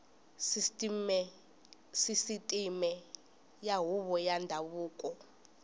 sisiteme ya huvo ya ndhavuko